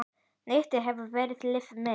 Netið hefur verið líf mitt.